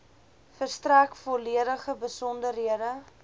verstrek volledige besonderhede